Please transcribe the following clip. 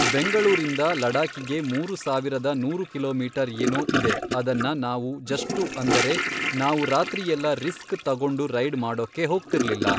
ಬೆಂಗಳೂರಿಂದ ಲಡಾಕಿಗೆ ಮೂರು ಸಾವಿರದ ನೂರು ಕಿಲೋಮೀಟರ್ ಏನೋ ಇದೆ ಅದನ್ನ ನಾವೂ ಜಷ್ಟು ಅಂದರೆ ನಾವು ರಾತ್ರಿಯೆಲ್ಲ ರಿಸ್ಕ್ ತಗೊಂಡು ರೈಡ್ ಮಾಡೋಕ್ಕೆ ಹೋಗ್ತಿರ್ಲಿಲ್ಲ